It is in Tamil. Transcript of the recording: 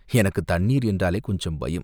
எனக்குத் தண்ணீர் என்றாலே கொஞ்சம் பயம்.